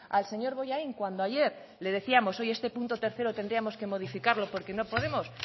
al señor bollain cuando ayer le decíamos oye este punto tercero tendríamos que modificarlo porque no podemos